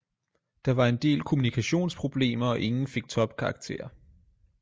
Der var en del kommunikationsproblemer og ingen fik topkarakterer